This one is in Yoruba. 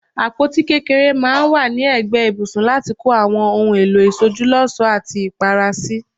Àpótí kékeré maa n wa ni egbe ibùsùn lati ko Awon ohun èlò ìsojúlósòó ati Ìpara si.